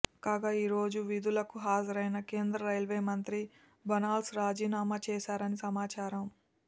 కాగా ఈ రోజు విధులకు హాజరైన కేంద్ర రైల్వే మంత్రి బన్సాల్ రాజీనామా చేశారని సమాచారం